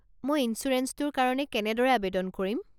মই ইঞ্চুৰেঞ্চটোৰ কাৰণে কেনেদৰে আৱেদন কৰিম?